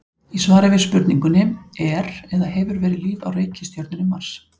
Í svari við spurningunni Er eða hefur verið líf á reikistjörnunni Mars?